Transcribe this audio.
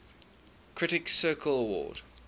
critics circle award